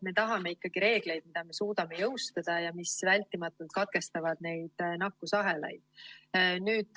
Me tahame ikkagi reegleid, mida me suudame jõustada ja mis vältimatult katkestavad neid nakkusahelaid.